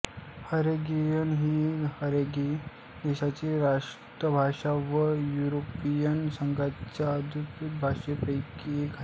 Hungarian ही Hungary देशाची राष्ट्रभाषा व युरोपियन संघाच्या अधिकृत भाषांपैकी एक आहे